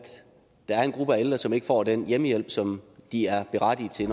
der er en gruppe af ældre som ikke får den hjemmehjælp som de er berettiget til